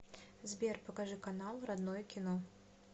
сбер покажи канал родное кино